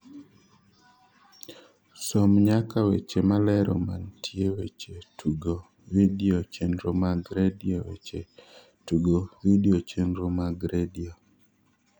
som nyaka weche malero mantie weche tugo vidio chenro mag redio weche tugo vidio chenro mag redio